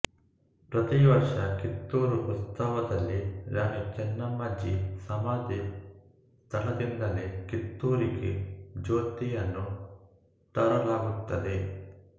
ಪ್ರತಿ ವರ್ಷ ಕಿತ್ತೂರು ಉತ್ಸವದಲ್ಲಿ ರಾಣಿ ಚೆನ್ನಮ್ಮಾಜಿ ಸಮಾಧಿ ಸ್ಥಳದಿಂದಲೇ ಕಿತ್ತೂರಿಗೆ ಜ್ಯೋತಿಯನ್ನು ತರಲಾಗುತ್ತದೆ